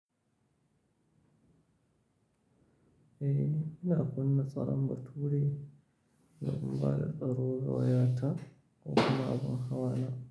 Eh, ina kunna tsaron bature lokacin da na baro wayata kuma abin hawana.